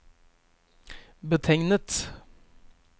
betegnet